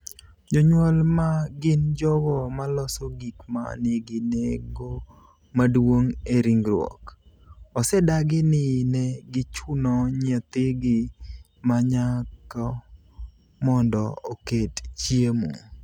Jonyuol, ma gin jogo maloso gik ma nigi nengo maduong' e ringruok, osedagi ni ne gichuno nyathigi ma nyako mondo oket chiemo.